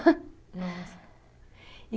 Nossa. E